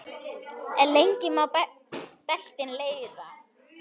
En lengi má beltin reyna.